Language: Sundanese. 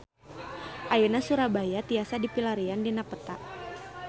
Ayeuna Surabaya tiasa dipilarian dina peta